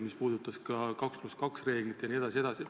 See puudutas ka 2 + 2 reeglit jne.